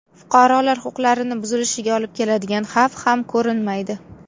Fuqarolar huquqlarini buzilishiga olib keladigan xavf ham ko‘rinmaydi.